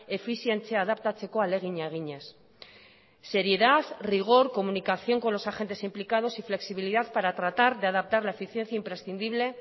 efizientzia adaptatzeko ahalegina eginez seriedad rigor comunicación con los agentes implicados y flexibilidad para tratar de adaptar la eficiencia imprescindible